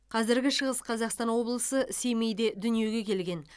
қазіргі шығыс қазақстан облысы семейде дүниеге келген